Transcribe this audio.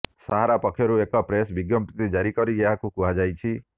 ସାହାରା ପକ୍ଷରୁ ଏକ ପ୍ରେସ୍ ବିଜ୍ଞପ୍ତି ଜାରି କରି ଏହା କୁହାଯାଇଛି